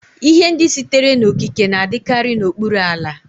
Ihe ndị sitere n'okike na-adịkarị n'okpuru ala.